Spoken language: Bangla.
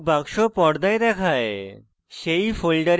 একটি dialog box পর্দায় দেখায়